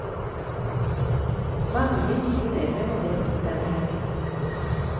Mange nye medlemmer deltok denne helgen.